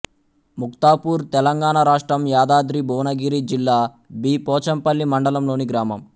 ముక్తాపూర్ తెలంగాణ రాష్ట్రం యాదాద్రి భువనగిరి జిల్లా బి పోచంపల్లి మండలంలోని గ్రామం